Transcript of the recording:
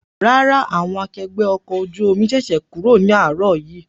Rárá, àwọn akẹgbẹ́ ọkọ̀ ojú omi ṣẹ̀ṣẹ̀ kúrò ní àárọ̀ yìí